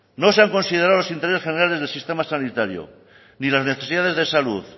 no se han considerado los intereses generales del sistema sanitario ni las necesidades de salud